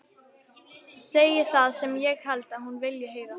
Segi það sem ég held að hún vilji heyra.